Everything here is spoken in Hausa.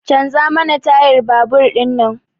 Canza mana tayar babur din nan!